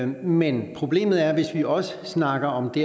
men problemet er hvis vi også snakker om de